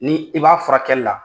Ni i b'a furakɛli la,